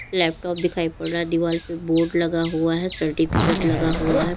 Laptop दिखाइ पड़ रहा है दीवाल पे बोर्ड लगा हुआ है सर्टिफिकेट लगा हुआ है।